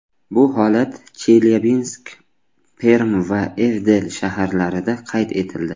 Bu holat Chelyabinsk, Perm va Ivdel shaharlarida qayd etildi.